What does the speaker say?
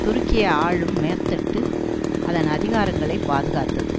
துருக்கிய ஆளும் மேற்தட்டு அதன் அதிகாரங்களை பாதுகாத்தது